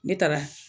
Ne taara